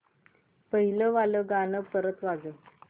पहिलं वालं गाणं परत वाजव